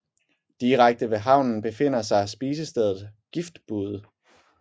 Direkte ved havnen befinder sig spisestedet Giftbude